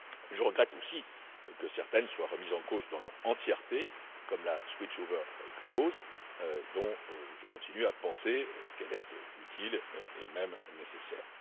Je regrette aussi que certaines soient remises en cause dans leur entièreté, comme la clause de switch over, dont je continue à penser qu'elle est utile et même nécessaire.